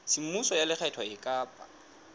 semmuso ya lekgetho e ka